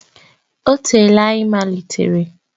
Ọ teela anyị malitere.